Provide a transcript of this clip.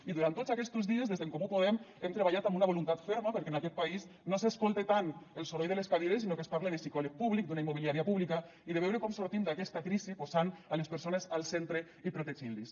i durant tots aquestos dies des d’en comú podem hem treballat amb una voluntat ferma perquè en aquest país no s’escolte tant el soroll de les cadires sinó que es parle de psicòleg públic d’una immobiliària pública i de veure com sortim d’aquesta crisi posant les persones al centre i protegint les